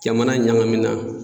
Jamana ɲagamina